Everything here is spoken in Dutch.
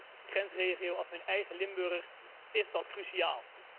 Zeker in een grensregio als mijn eigen Limburg is dat cruciaal.